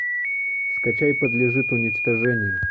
скачай подлежит уничтожению